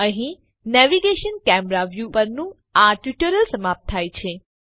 અહીં navigation camera view પરનું આ ટ્યુટોરીયલ સમાપ્ત થાય છે